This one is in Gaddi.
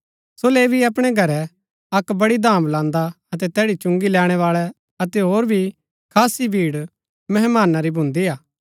सो लेवी अपणै घरै अक्क वडी धाम लान्दा अतै तैड़ी चुंगी लैणैबाळै अतै होर भी खासी भीड़ मेहमाना री भून्दी हा